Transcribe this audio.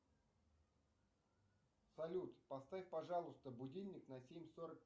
салют поставь пожалуйста будильник на семь сорок